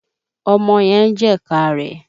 Ọmọ yẹn ń jẹ̀ka rẹ̀.